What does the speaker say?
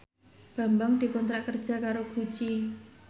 Bambang dikontrak kerja karo Gucci